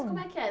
como é que era?